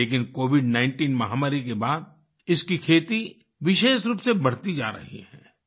लेकिन COVID19 महामारी के बाद इसकी खेती विशेष रूप से बढ़ती जा रही है